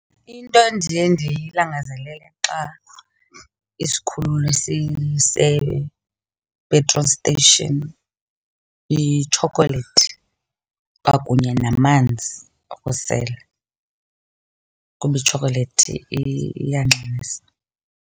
Into endiye ndiyilangazelele xa isikhululo sise-petrol station yitshokolethi kwakunye namanzi okusela kuba itshokolethi iyanxanisa.